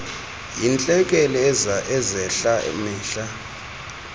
yeentlekele ezehla mihla